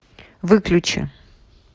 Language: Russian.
выключи